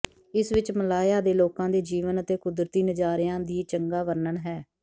ਇਸ ਵਿੱਚ ਮਲਾਇਆ ਦੇ ਲੋਕਾਂ ਦੇ ਜੀਵਨ ਅਤੇ ਕੁਦਰਤੀ ਨਜ਼ਾਰਿਆ ਦੀ ਚੰਗਾ ਵਰਣਨ ਹੈ